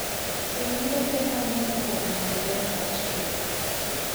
Winy yudo ber mang'eny kuom neno ler mar chieng'.